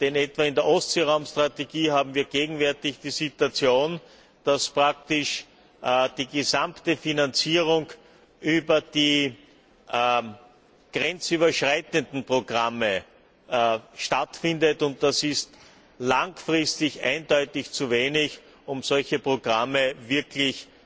Denn etwa in der Ostseeraum Strategie haben wir gegenwärtig die Situation, dass praktisch die gesamte Finanzierung über die grenzüberschreitenden Programme stattfindet, und das ist langfristig eindeutig zu wenig, um solche Programme wirklich